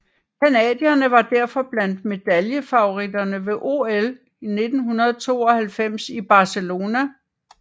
Canadierne var derfor blandt medaljefavoritterne ved OL 1992 i Barcelona